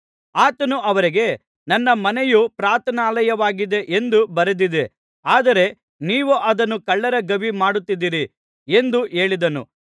ಆತನು ಅವರಿಗೆ ನನ್ನ ಮನೆಯು ಪ್ರಾರ್ಥನಾಲಯವಾಗಿದೆ ಎಂದು ಬರೆದಿದೆ ಆದರೆ ನೀವು ಅದನ್ನು ಕಳ್ಳರ ಗವಿ ಮಾಡುತ್ತಿದ್ದೀರಿ ಎಂದು ಹೇಳಿದನು